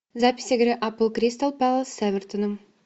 запись игры апл кристал пэлас с эвертоном